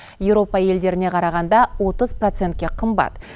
еуропа елдеріне қарағанда отыз процентке қымбат